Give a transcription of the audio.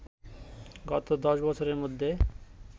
গত দশ বছরের মধ্যে